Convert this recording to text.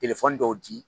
dɔw di